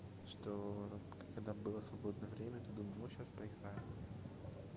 чтоо когда было свободное время то думаю вот сейчас поиграю